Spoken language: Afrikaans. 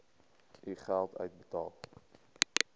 u geld uitbetaal